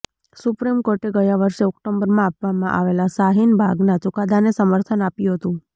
supreme કોર્ટે ગયા વર્ષે ઓક્ટોબરમાં આપવામાં આવેલા શાહીન બાગના ચુકાદાને સમર્થન આપ્યું હતું